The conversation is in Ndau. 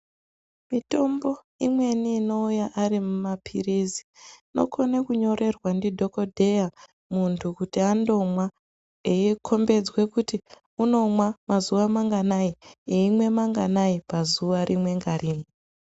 Mitombo imweni inouya ari maphirizi inokone kunyorerwa ndidhokodheya, muntu kuti andomwa, eikhombedzwa kuti unomwa mazuwa manganai, eimwe manganai, pazuwa rimwe ngarimwe.